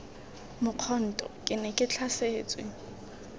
mokhonto ke ne ke tlhasetswe